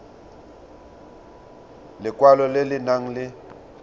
lekwalo le le nang le